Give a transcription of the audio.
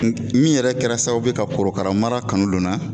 N min yɛrɛ kɛra sababu ye ka korokara mara kanu lon na